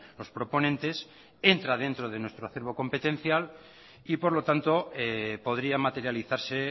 los proponentes entra dentro de nuestro hacerlo competencial y por lo tanto podría materializarse